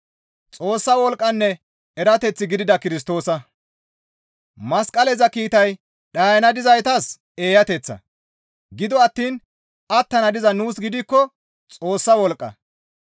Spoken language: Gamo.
Masqaleza kiitay dhayana dizaytas eeyateththa; gido attiin attana diza nuus gidikko Xoossa wolqqa.